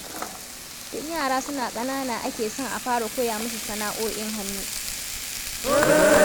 Tun yara suna kanana ake son a fara koya musu sana'o'in hannu.